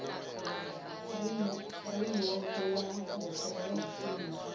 furemiweke ya mbetshelwa ya zwishumiswa